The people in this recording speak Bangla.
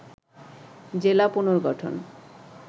জেলা পুনর্গঠন